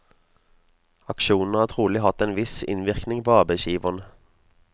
Aksjonene har trolig hatt en viss innvirkning på arbeidsgiverne.